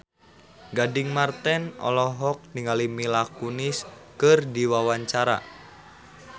Gading Marten olohok ningali Mila Kunis keur diwawancara